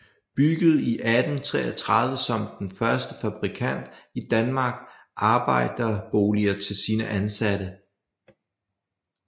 Byggede i 1833 som den første fabrikant i Danmark arbejderboliger til sine ansatte